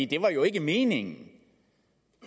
det var jo ikke meningen